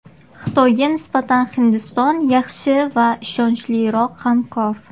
Xitoyga nisbatan Hindiston yaxshi va ishonchliroq hamkor.